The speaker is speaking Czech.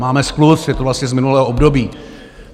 Máme skluz, je to vlastně z minulého období.